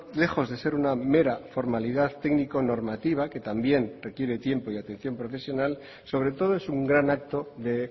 lejos de ser una mera formalidad técnico normativa que también requiere tiempo y atención profesional sobre todo es un gran acto de